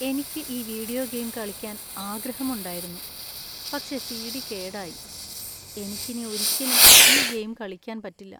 എനിക്ക് ഈ video game കളിക്കാൻ ആഗ്രഹമുണ്ടായിരുന്നു, പക്ഷേ സി.ഡി. കേടായി. എനിക്ക് ഇനി ഒരിക്കലും ഈ ഗെയിം കളിക്കാൻ പറ്റില്ല.